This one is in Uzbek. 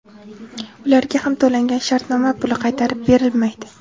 Ularga ham to‘langan shartnoma puli qaytarib berilmaydi.